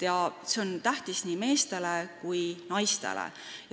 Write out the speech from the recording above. Need on tähtsad nii meestele kui ka naistele.